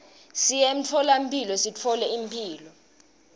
siye emtfolamphilo sithole imphilo